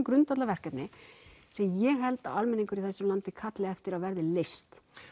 grundvallarverkefni sem ég held að almenningur í þessu landi kalli eftir að verði leyst